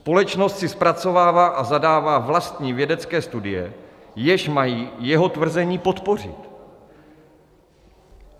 Společnost si zpracovává a zadává vlastní vědecké studie, jež mají jeho tvrzení podpořit.